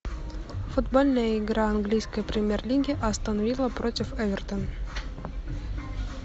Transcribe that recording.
футбольная игра английской премьер лиги астон вилла против эвертон